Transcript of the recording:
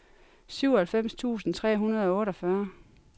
syvoghalvfems tusind tre hundrede og otteogfyrre